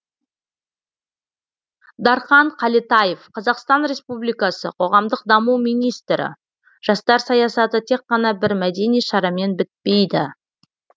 дархан қалетаев қазақстан республикасы қоғамдық даму министрі жастар саясаты тек қана бір мәдени шарамен бітпейді